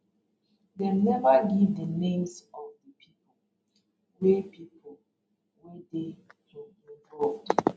dem neva give di names of di pipo wey pipo wey dey um involved